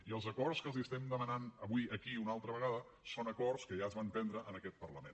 i els acords que els estem demanant avui aquí una altra vegada són acords que ja es van prendre en aquest parlament